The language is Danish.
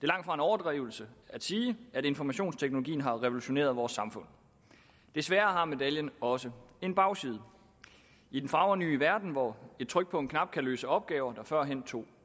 langtfra en overdrivelse at sige at informationsteknologien har revolutioneret vores samfund desværre har medaljen også en bagside i den fagre nye verden hvor et tryk på en knap kan løse opgaver der førhen tog